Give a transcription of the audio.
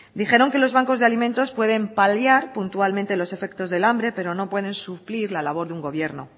dijeron que los bancos de alimentos pueden paliar puntualmente los efectos del hambre pero no pueden suplir la labor de un gobierno